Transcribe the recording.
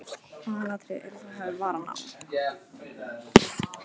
Aðalatriðið er að þú hafir varann á.